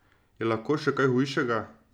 Je lahko še kaj hujšega?